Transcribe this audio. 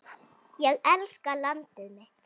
Ég elska landið mitt.